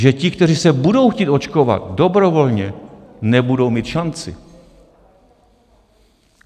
Že ti, kteří se budou chtít očkovat dobrovolně, nebudou mít šanci.